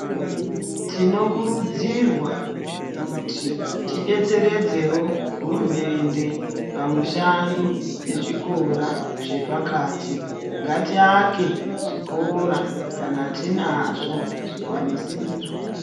Tinokurudzirwa kuti tibetseredzevo hurumende pamishando pezvikora zvepakati. Ngatiake zvikora kana tinazvo zvikwanisiro.